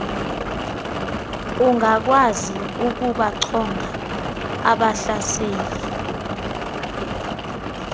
ungakwazi ukubachonga abahlaseli